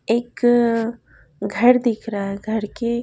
एक अ घर दिख रहा है घर के--